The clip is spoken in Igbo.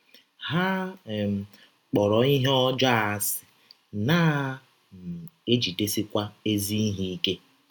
Ha ‘ um kpọrọ ihe ọjọọ asị, na um - ejidesikwa ezi ihe ike. ’